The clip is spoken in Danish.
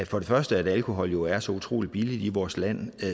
for det første at alkohol jo er så utrolig billigt i vores land